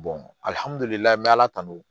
alihamudulila n bɛ ala tanu